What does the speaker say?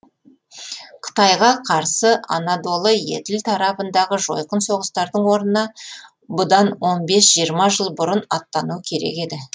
қытайға қарсы анадолы еділ тарабындағы жойқын соғыстардың орнына бұдан он бес жиырма жыл бұрын аттану керек еді